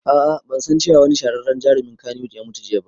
Aa ban san cewa wani shahararren jarumin kannywood ya mutu jiya ba